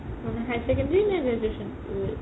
higher secondary নে graduation?